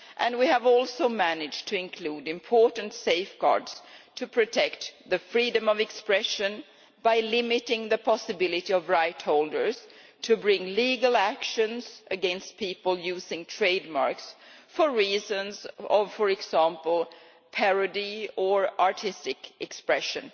We have also managed to include important safeguards to protect freedom of expression by limiting the possibility of rightholders to bring legal actions against people using trademarks for reasons, for example, of parody or artistic expression.